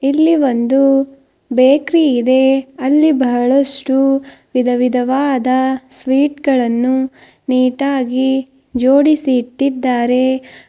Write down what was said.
ಇಲ್ಲಿ ಒಂದು ಬೇಕರಿ ಇದೆ ಅಲ್ಲಿ ಬಹಳಷ್ಟು ವಿಧವಿಧವಾದ ಸ್ವೀಟ್ ಗಳನ್ನು ನೀಟ್ ಆಗಿ ಜೋಡಿಸಿ ಇಟ್ಟಿದ್ದಾರೆ.